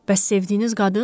Bəs sevdiyiniz qadın?